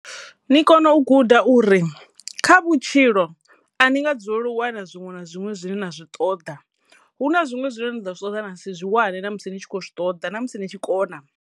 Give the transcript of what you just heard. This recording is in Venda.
Ni kono u guda uri kha vhutshilo a ni nga dzulela u wana zwiṅwe na zwiṅwe zwine na zwi ṱoḓa hu na zwiṅwe zwine ni ḓo zwi ṱoḓa na si zwi wane na musi ni tshi khou zwi ṱoḓa na musi ni tshi kona.